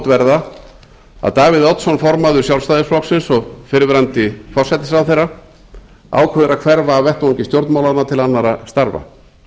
verða að davíð oddsson formaður sjálfstæðisflokksins og fyrrverandi forsætisráðherra ákveður að hverfa af vettvangi stjórnmálanna til annarra starfa